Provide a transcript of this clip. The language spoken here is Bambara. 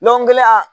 Lɔgɔ kelen a